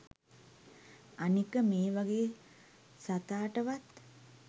අනික මේ වගේ සතාටවත්